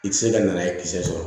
I tɛ se ka na n'a ye kisɛ sɔrɔ